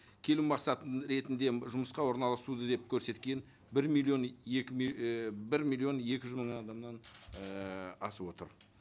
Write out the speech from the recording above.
келу мақсатын ретінде жұмысқа орналасу деп көрсеткен бір миллион екі ііі бір миллион екі жүз мың адамнан ііі асып отыр